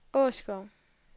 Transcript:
Åskov